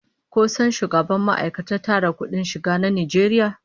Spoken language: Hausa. Ko san shugaban ma'aikatar tara kudin shiga na Najeriya?